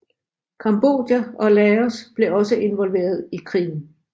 Cambodia og Laos blev også involveret i krigen